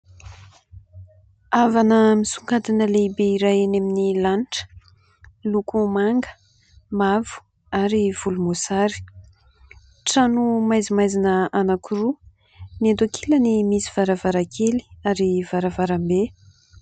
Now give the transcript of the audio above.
Havana misongadina lehibe iray eny amin'ny lanitra miloko manga, mavo ary volomboasary. Trano maizimaizina anankiroa ; ny eto ankilany misy varavarankely ary varavarambe.